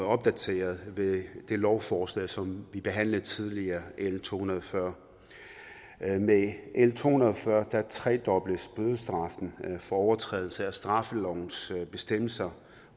opdateret ved det lovforslag som vi behandlede tidligere l to hundrede og fyrre med l to hundrede og fyrre tredobles bødestraffen for overtrædelse af straffelovens bestemmelser